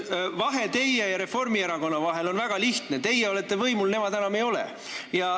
Teie ja Reformierakonna vahel on väga lihtne vahe: teie olete võimul, nemad enam ei ole.